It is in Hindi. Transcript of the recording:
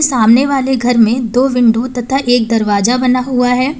सामने वाले घर में दो विंडो तथा एक दरवाजा बना हुआ है।